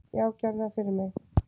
"""Já, gerðu það fyrir mig!"""